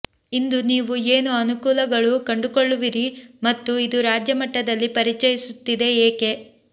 ಇಂದು ನೀವು ಏನು ಅನುಕೂಲಗಳು ಕಂಡುಕೊಳ್ಳುವಿರಿ ಮತ್ತು ಇದು ರಾಜ್ಯ ಮಟ್ಟದಲ್ಲಿ ಪರಿಚಯಿಸುತ್ತಿದೆ ಏಕೆ